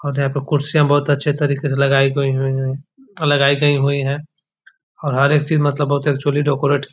और यहाँ पे कुर्सियाँ बहुत अच्छे तरीके से लगाई गयी हैं अ लगाई गयी हुई हैं और हर एक चीज़ मतलब फूली डेकोरेट --